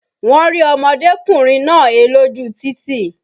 Wọ́n rí ọmọdékùnrin náà he lójú títì